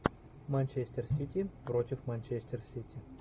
манчестер сити против манчестер сити